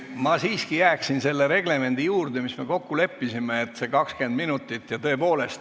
Ma siiski jääksin selle reglemendi juurde, mis me kokku leppisime, see 20 minutit.